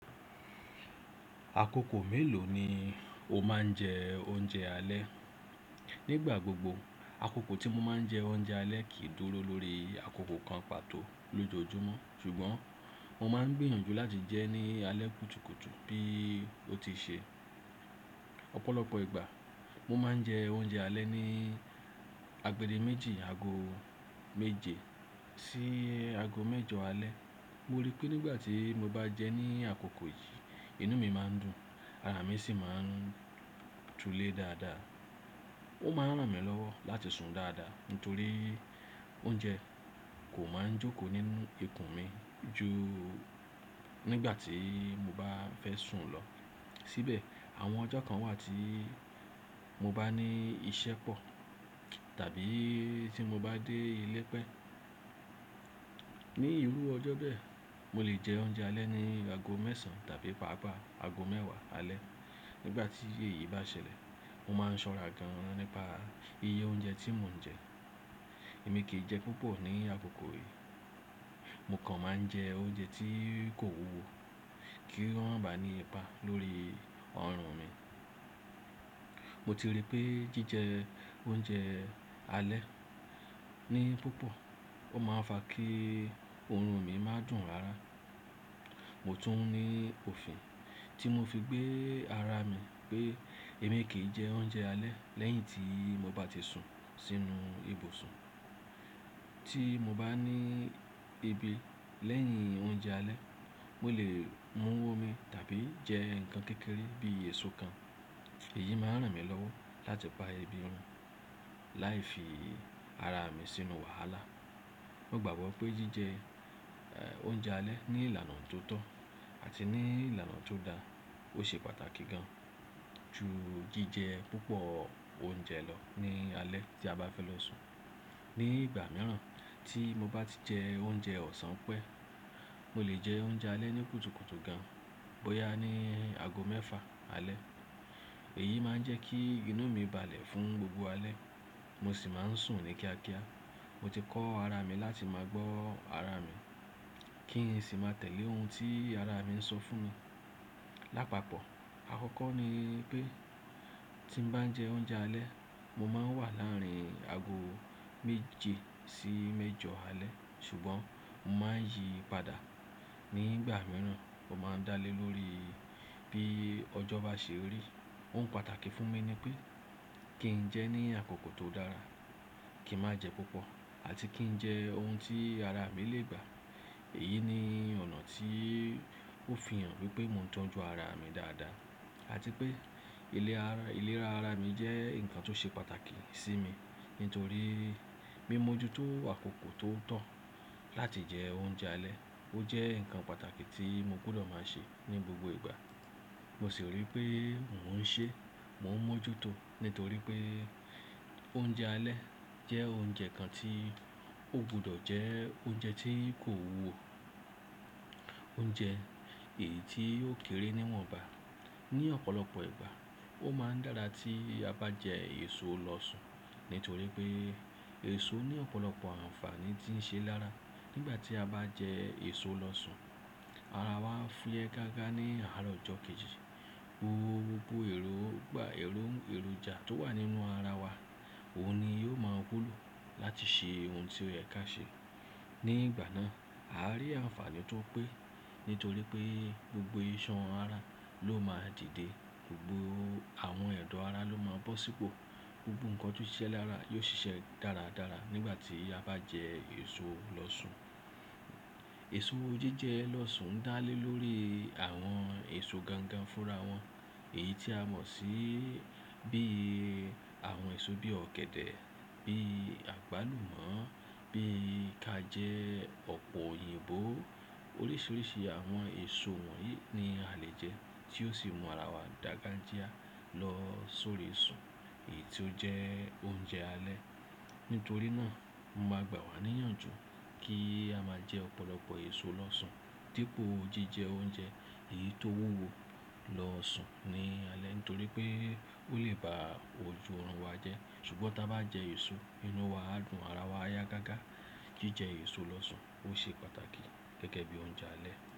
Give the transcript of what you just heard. Àkókò mélòó ni o máa ń jẹ oúnjẹ alẹ́? Nígbà gbogbo, àkókò tí mo máa ń jẹ oúnjẹ alẹ́ kì í dúró lórí àkókò kan pàtó lójoojúmọ́. Ṣùgbọ́n mo máa ń gbìyànjú láti jẹ́ ní alẹ́ kùtùkùtù bí ó ti ṣe. Ọ̀pọ̀lọpọ̀ ìgbà mo máa ń jẹ oúnjẹ alẹ́ ní agbede méjì, ago méje sí ago mẹ́jọ alẹ́. Mo rí pé nígbà tí mo bá jẹ́ ní àkókò yìí, inú mi máa ń dùn, ara mi sì máa ń tulé dáadáa. Ó máa ń ràn mí lọ́wọ́ láti sùn dáadáa nítorí oúnjẹ kò máa ń jókòó nínú ikùn mi ju nígbà tí mo bá fẹ́ sùn lọ. Síbẹ̀ àwọn ọjọ́ kan wà tí mo bá ní iṣẹ́ pọ̀ tàbí tí mo bá dé ilé pẹ́. Ni ìrú ọjọ́ bẹ́ẹ̀, mo lè jẹ oúnjẹ alẹ́ ní ago mẹ́sàn tàbí pàápàá ago mẹ́wàá alẹ́. Nígbà tí èyí bá ṣẹlẹ̀, mo máa ń ṣọ́ra gan-an nípa iye oúnjẹ tí mo ń jẹ. Èmi kì í jẹ púpọ̀ ní àkókò yìí. Mo kàn máa ń jẹ oúnjẹ tí kò wúwo kí ó ràn bá ní ipa lórí ọrùn mi. Mo ti rí pé jíjẹ oúnjẹ alẹ́ ní púpọ̀, ó máa ń fa kí ọrùn mi má dùn rara. Mo tún ní òfin tí mo fi gbé ara mi pé èmi kì í jẹ oúnjẹ alẹ́ lẹ́yìn tí mo bá ti sùn sínú ibùsùn. Tí mo bá ní ebi lẹ́yìn oúnjẹ alẹ́, mo lè mú omi tàbí jẹ nǹkan kékeré bí èso kan. Èyí máa ń ràn mí lọ́wọ́ láti pa ebi run láì fi ara mi sínú wàhálà. Mo gbàgbọ́ pé jíjẹ, ẹ́, oúnjẹ alẹ́ ní ìlànà tó tọ́ àti ní ìlànà tó dáa ó ṣe pàtàkì gan ju jíjẹ púpọ̀ oúnjẹ lọ ní alẹ́ tí a bá fẹ́ lọ sùn. Ní ìgbà mìíràn tí mo bá ti jẹ oúnjẹ ọ̀sán pẹ́, mo lè jẹ oúnjẹ alẹ́ ní kùtùkùtù gan, bóyá ní ago mẹ́fà alẹ́. Èyí máa ń jẹ́ kí inú mi balẹ̀ fún gbogbo alẹ́, mo sì máa ń sùn ní kíákíá. Mo ti kọ́ ara mi láti máa gbọ́ ara mi kí n sì máa tẹ̀lé ohun tí ara mi ń sọ fún mi. Lápapọ̀, àkọ́kọ́ ni pé tí mo bá ń jẹ oúnjẹ alẹ́, mo máa ń wà láàárín ago méje sí mẹ́jọ alẹ́. Ṣùgbọ́n mo máa ń yí padà nígbà mìíràn. Ó máa ń dá lé lórí bí ọjọ́ bá ṣe rí. Ohun pàtàkì fún mi ni pé kí n jẹ́ ní àkókò tó dára, kí n má jẹ púpọ̀ àti kí n jẹ ohun tí ara mi lè gbà. Èyí ni ọ̀nà tí ó fi hàn wípé mo ń tọ́jú ara mi dáadáa àti pé iléra ara mi jẹ́ nǹkan tó ṣe pàtàkì sí mi. Nítorí mi mọ́ ju tó àkókò tó tọ́ láti jẹ oúnjẹ alẹ́. Ó jẹ́ nǹkan pàtàkì tí mo gbọdọ̀ máa ṣe ní gbogbo ìgbà. Mo sì rí pé mò ń ṣe, mò ń mọ́ ju tó nítorí pé oúnjẹ alẹ́ jẹ́ oúnjẹ kan tí o gbọdọ̀ jẹ́ oúnjẹ tí kò wúwo. Oúnjẹ èyí tí yóò kéré níwọ̀nba. Ni ọ̀pọ̀lọpọ̀ ìgbà, ó máa ń dára tí a bá jẹ èso lọ sùn nítorí pé èso ní ọ̀pọ̀lọpọ̀ àǹfààní tí ń ṣe lára. Nígbà tí a bá jẹ èso lọ sùn, ara wa á fúyẹ́ gágá ní àárọ̀ ọjọ́ kejì. Gbogbo èròjà tó wà nínú ara wa, òun ni yóò máa wúlò láti ṣe ohun tí ó yẹ ká ṣe. Nígbà náà, a á rí àǹfààní tó pé nítorí pé gbogbo ìṣàn ara ló máa dìde, gbogbo àwọn ẹ̀dọ̀ ara ló máa bọ́ sípò, gbogbo nǹkan tó ṣe é ṣe lára yóò ṣiṣẹ́ dáradára nígbà tí a bá jẹ èso lọ sùn. Èso jíjẹ lọ sùn ń dá lé lórí àwọn èso gangan fúnra wọn. Èyí tí a mọ̀ sí bí àwọn èso bí ọ̀gẹ̀dẹ̀, bí àgbálùmọ́, bí ka jẹ́ ọ̀pọ̀ òyìnbó. Oríṣiríṣi àwọn èso wọ̀nyí ni a lè jẹ́ tí ó sì mú ara wa dàgajíá lọ sórí sùn èyí tó jẹ́ oúnjẹ alẹ́. Nítorí náà, mo máa gbà wá níyànjú kí a máa jẹ ọ̀pọ̀lọpọ̀ èso lọ sùn dípò jíjẹ oúnjẹ èyí tó wúwo lọ sùn ní alẹ́ nítorí pé ó lè ba ojú ọrùn wa jẹ́. Ṣùgbọ́n tí a bá jẹ èso, inú wa á dùn, ara wa á yá gágá. Jíjẹ èso lọ sùn ó ṣe pàtàkì gẹ́gẹ́ bí oúnjẹ alẹ́.